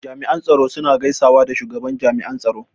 Jami'an tsaro suna gaisawa da shugaban jami'an tsaro.